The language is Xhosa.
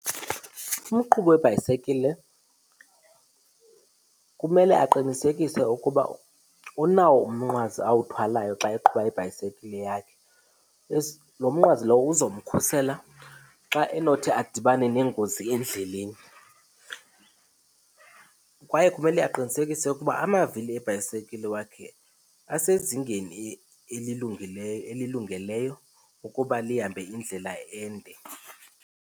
Umqhubi webhayisikile kumele aqinisekise ukuba unawo umnqwazi awuthwalayo xa eqhuba ibhayisekile yakhe. Lo mnqwazi lowo uzamkhusela xa enothi adibane nengozi endleleni. Kwaye kumele aqinisekise ukuba amavili ebhayisekile wakhe asezingeni elilungileyo, elilungeleyo ukuba lihambe indlela ende.